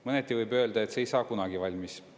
Mõneti võib öelda, et see ei saa kunagi valmis.